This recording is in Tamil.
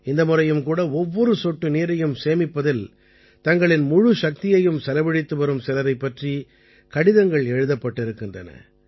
இந்த முறையும் கூட ஒவ்வொரு சொட்டு நீரையும் சேமிப்பதில் தங்களின் முழுச்சக்தியையும் செலவழித்து வரும் சிலரைப் பற்றி கடிதங்கள் எழுதப்பட்டிருக்கின்றன